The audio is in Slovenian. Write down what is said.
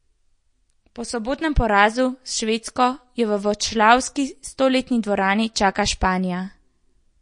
Po sobotnem porazu s Švedsko jo v vroclavski stoletni dvorani čaka Španija.